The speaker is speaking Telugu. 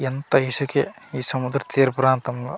ఎంత ఇసుకె ఈ సముద్ర తీర ప్రాంతం లో .